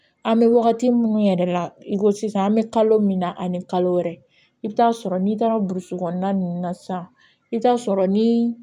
An bɛ wagati minnu yɛrɛ la i ko sisan an bɛ kalo min na ani kalo wɛrɛ i bɛ taa sɔrɔ n'i taara burusi kɔnɔna ninnu na sisan i bɛ taa sɔrɔ ni